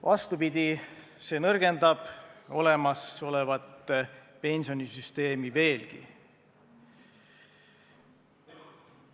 Vastupidi, see nõrgendab olemasolevat pensionisüsteemi veelgi.